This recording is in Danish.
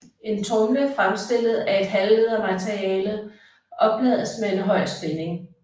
En tromle fremstillet af et halvledermateriale oplades med en høj spænding